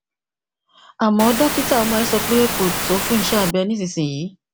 àmó dókítà ọmọ rẹ sọ pé kò tó fún iṣé abẹ nísinsìnyí